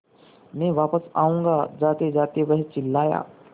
मैं वापस आऊँगा जातेजाते वह चिल्लाया